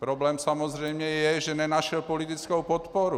Problém samozřejmě je, že nenašel politickou podporu.